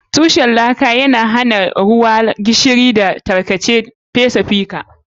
Tushen laka yana hana laka, ruwa, gishiri, da tarkace fesa fita.